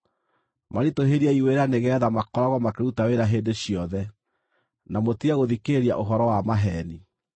Maritũhĩriei wĩra nĩgeetha makoragwo makĩruta wĩra hĩndĩ ciothe, na mũtige gũthikĩrĩria ũhoro wa maheeni.”